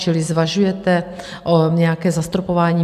Čili zvažuje se nějaké zastropování?